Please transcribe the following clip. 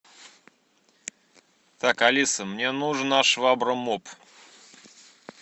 так алиса мне нужна швабра моп